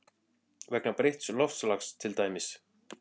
Vegna breytts loftslags til dæmis?